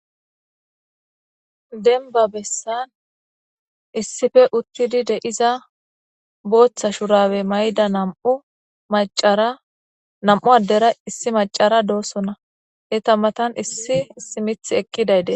denba bessan issife uttidi deiza booththa shurabe mayda nam7u macara nam7u addera issi macara doosonna eta matan issi issi mith ekkidayde